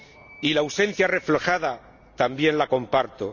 Y la ausencia reflejada también la comparto